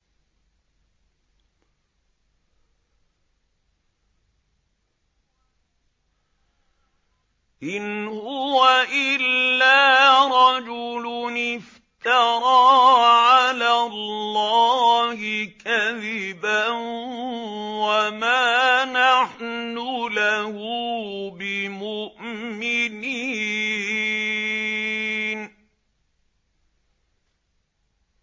إِنْ هُوَ إِلَّا رَجُلٌ افْتَرَىٰ عَلَى اللَّهِ كَذِبًا وَمَا نَحْنُ لَهُ بِمُؤْمِنِينَ